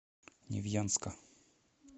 невьянска